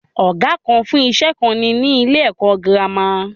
Ọ̀gá kan fún iṣẹ́ kan ni ni ilé ẹ̀kọ́ girama.